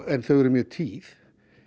en þau eru mjög tíð